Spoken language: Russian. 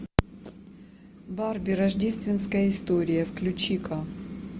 барби рождественская история включи ка